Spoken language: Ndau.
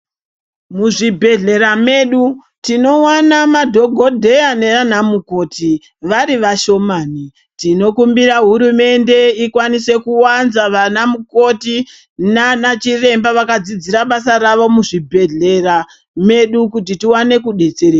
Muzvibhedhlera medu, tinowana madhokodheya ne anamukoti, varivashomani. Tinokumbira hurumende ikwanise kuwanza vanamukoti nanachiremba vakadzidzira basa ravo muzvi bhedhlera medu kuti tiwane kudetsereka.